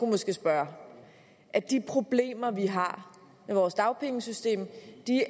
måske spørge at de problemer vi har med vores dagpengesystem